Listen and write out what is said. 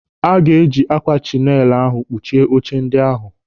Aga eji ákwà chinail ahụ kpuchie oche ndị ahụ.